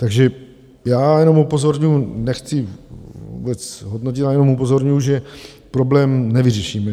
Takže já jenom upozorňuju, nechci vůbec hodnotit, já jenom upozorňuju, že problém nevyřešíme.